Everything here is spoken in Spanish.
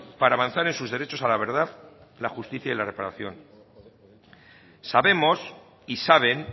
para avanzar en sus derechos a la verdad la justicia y la reparación sabemos y saben